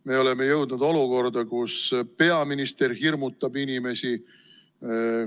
Me oleme jõudnud olukorda, kus peaminister hirmutab inimesi.